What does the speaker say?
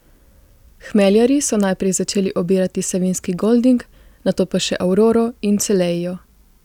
Hmeljarji so najprej začeli obirati savinjski golding, nato pa še auroro in celeio.